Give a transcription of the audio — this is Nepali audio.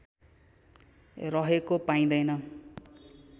रहेको पाइँदैन